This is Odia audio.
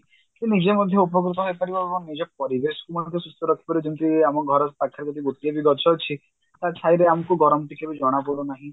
କି ନିଜେ ମଧ୍ୟ ଉପକୃତ ହେଇପାରିବ ଏବଂ ନିଜ ପରିବେଶକୁ ମଧ୍ୟ ସୁସ୍ଥ ରଖିପାରିବ ଯେମତିକି ଆମ ଘର ପାଖରେ ଯଦି ଗୋଟିଏ ବି ଗଛ ଅଛି ତା ଛାଇରେ ଆମକୁ ଗରମ ଟିକେ ବି ଜଣାପଡୁନାହିଁ